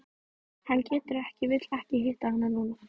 Hann getur ekki vill ekki hitta hana núna.